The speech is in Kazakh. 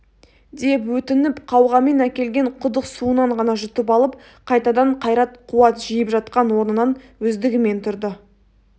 деп өтініп қауғамен әкелген құдық суынан ғана жұтып алып қайтадан қайрат қуат жиып жатқан орнынан өздігімен тұрды